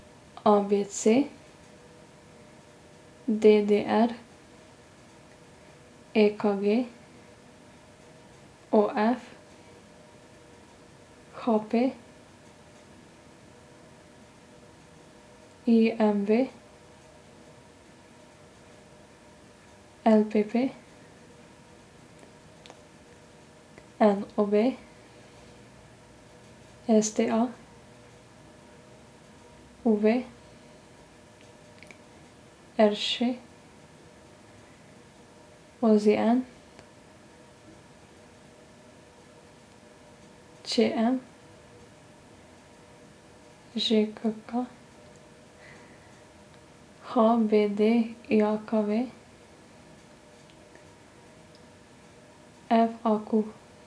A B C; D D R; E K G; O F; H P; I M V; L P P; N O B; S T A; U V; R Š; O Z N; Č M; Ž K K; H B D J K V; F A Q.